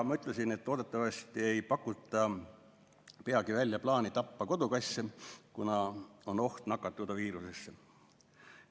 Ma ütlesin, et loodetavasti ei pakuta peagi välja plaani tappa kodukasse, kuna neil on oht nakatuda viirusesse.